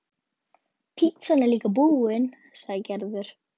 Pitsan er líka búin, sagði Gerður.